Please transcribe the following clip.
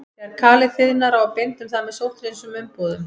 Þegar kalið þiðnar á að binda um það með sótthreinsuðum umbúðum.